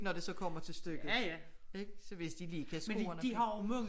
Når det så kommer til stykket ik så hvis de lige kan score